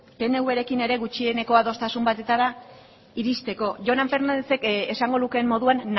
pnvrekin ere gutxieneko adostasun batera iristeko jonan fernándezek esango lukeen moduan